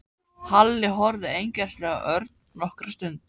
Halli horfði einkennilega á Örn nokkra stund.